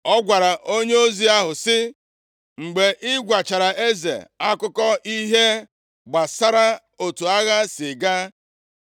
Ọ gwara onyeozi ahụ sị, “Mgbe ị gwachara eze akụkọ ihe gbasara otu agha si gaa